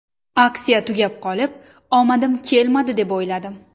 Aksiya tugab qolib, omadim kelmadi, deb o‘yladim.